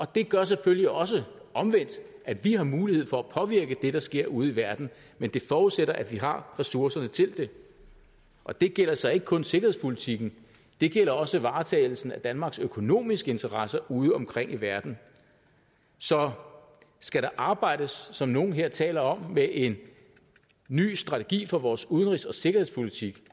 det gør selvfølgelig også omvendt at vi har mulighed for at påvirke det der sker ude i verden men det forudsætter at vi har ressourcerne til det og det gælder så ikke kun sikkerhedspolitikken det gælder også varetagelsen af danmarks økonomiske interesser udeomkring i verden så skal der arbejdes som nogle her taler om med en ny strategi for vores udenrigs og sikkerhedspolitik